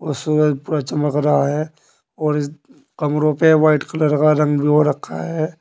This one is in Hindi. और सूरज पूरा चमक रहा है और इस कमरों पे वाइट कलर का रंग भी हो रखा है